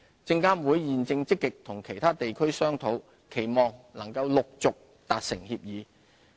證監會現正積極與其他地區商討，期望能陸續達成協議。